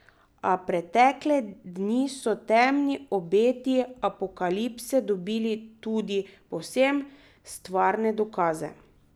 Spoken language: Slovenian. A pretekle dni so temni obeti apokalipse dobili tudi povsem stvarne dokaze.